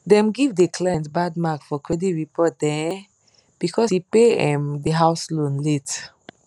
dem give de client bad mark for credit report um because e pay um de house loan late